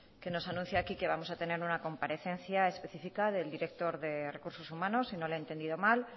que nos anuncie aquí que vamos a tener una comparecencia específica del director de recursos humanos si no le he entendido mal